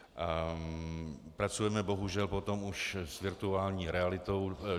Pracujeme bohužel potom už s virtuální realitou.